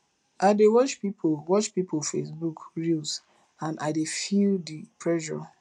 i dey watch pipo watch pipo facebook reels and i dey feel di pressure